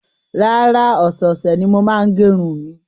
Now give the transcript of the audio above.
Rárá, ọ̀sẹ̀ẹ̀sẹ̀ ni mo máa ń gẹ irun mi.